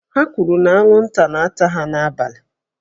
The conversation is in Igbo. Ha kwuru na anwụnta na-ata ha n'abalị